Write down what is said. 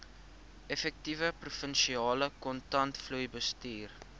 effektiewe provinsiale kontantvloeibestuur